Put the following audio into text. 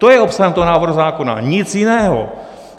To je obsahem toho návrhu zákona, nic jiného.